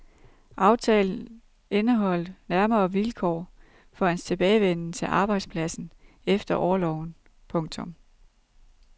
Aftalen indeholdt nærmere vilkår for hans tilbagevenden til arbejdspladsen efter orloven. punktum